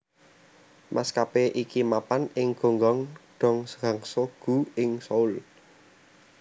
Maskapé iki mapan ing Gonghang dong Gangseo gu ing Seoul